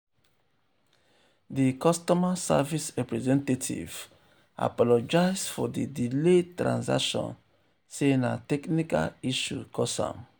di customer service representative apologize for di delayed transaction sey na technical issue cause am.